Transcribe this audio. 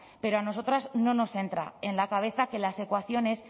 pero a nosotras no nos entra en la cabeza que las evaluaciones